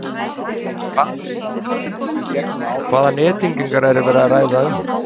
En hvað þýðir þetta fyrir almenning og hvaða nettengingar er verið að ræða um?